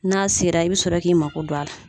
N'a sera i bi sɔrɔ k'i mako don a la